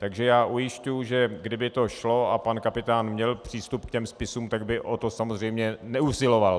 Takže já ujišťuji, že kdyby to šlo a pan Kapitán měl přístup k těm spisům, tak by o to samozřejmě neusiloval.